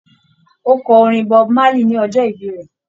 Ó kọ orin Bob Marley ní ọjọ́ ìbí rẹ̀